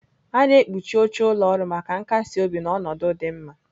A na-ekpuchi oche ụlọ ọrụ maka nkasi obi na ọnọdụ dị mma.